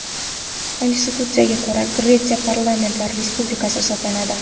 Konstitutsiyasiga ko‘ra, Gretsiya parlamentar respublika hisoblanadi.